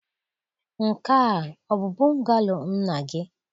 Nke a ọ bụ bungalow nna gị?